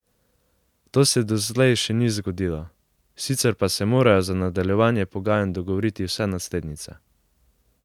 To se doslej še ni zgodilo, sicer pa se morajo za nadaljevanje pogajanj dogovoriti vse naslednice.